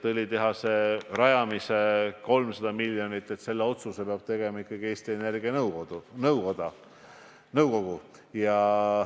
Õlitehase rajamise otsuse, 300 miljonit maksva otsuse peab tegema ikkagi Eesti Energia nõukogu.